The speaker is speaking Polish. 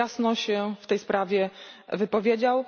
jasno się w tej sprawie wypowiedział.